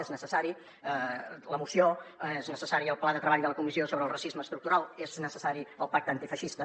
és necessària la moció és necessari el pla de treball de la comissió d’estudi del racisme estructural és necessari el pacte antifeixista